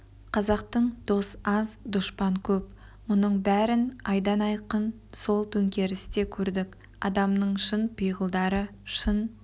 қазақтың дос аз дұшпан көп мұның бәрін айдан айқын сол төңкерісте көрдік адамның шын пиғылдары шын